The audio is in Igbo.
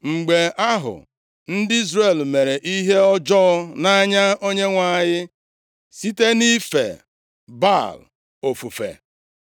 Mgbe ahụ, ndị Izrel mere ihe ọjọọ nʼanya Onyenwe anyị site nʼife Baal ofufe.